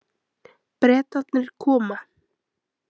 Bretarnir koma.